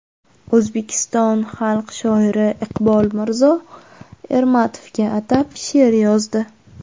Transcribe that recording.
O‘zbekiston xalq shoiri Iqbol Mirzo Ermatovga atab she’r yozdi.